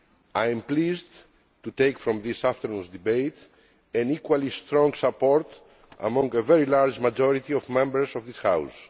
I am pleased to take from this afternoon's debate equally strong support among a very large majority of Members of this House.